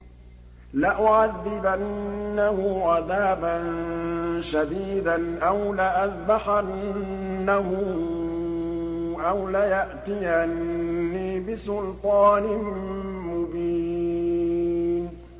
لَأُعَذِّبَنَّهُ عَذَابًا شَدِيدًا أَوْ لَأَذْبَحَنَّهُ أَوْ لَيَأْتِيَنِّي بِسُلْطَانٍ مُّبِينٍ